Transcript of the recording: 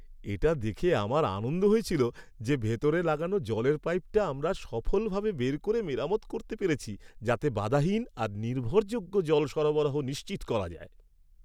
এটা দেখে আমার আনন্দ হয়েছিল যে ভিতরে লাগানো জলের পাইপটা আমরা সফলভাবে বের করে মেরামত করতে পেরেছি যাতে বাধাহীন আর নির্ভরযোগ্য জল সরবরাহ নিশ্চিত করা যায়।